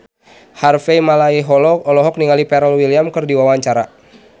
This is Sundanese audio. Harvey Malaiholo olohok ningali Pharrell Williams keur diwawancara